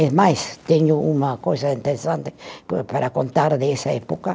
E mais, tenho uma coisa interessante pa para contar dessa época.